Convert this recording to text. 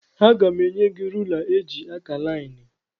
Aga m enye gị rula eji akà laịnị.